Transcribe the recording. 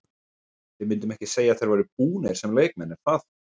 Við myndum ekki segja að þeir væru búnir sem leikmenn er það?